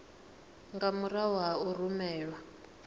nga murahu ha u rumelwa